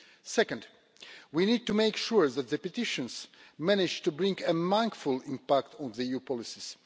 Second, we need to make sure that petitions manage to bring a mindful impact on EU policies.